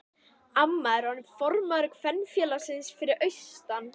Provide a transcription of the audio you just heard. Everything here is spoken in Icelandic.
Amma er orðin formaður kvenfélagsins fyrir austan.